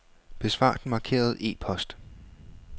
Besvar den markerede e-post.